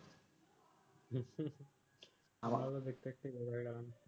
আমার ও দেখতে দেখতে বড় হয়ে গেলো